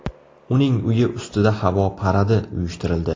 Uning uyi ustida havo paradi uyushtirildi.